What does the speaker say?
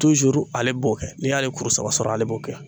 ale b'o kɛ n'i y'ale kuru saba sɔrɔ ale b'o kɛ